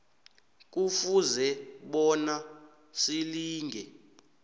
kufuze bona silinge